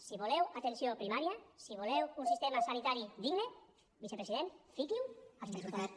si voleu atenció primària si voleu un sistema sanitari digne vicepresident fiqui ho als pressupostos